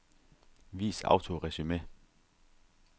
Vis autoresumé.